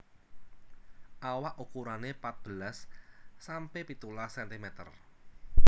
Awak ukurane patbelas sampe pitulas sentimeter